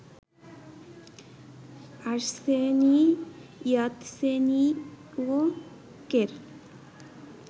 Arseniy ইয়াতসেনিয়ুকের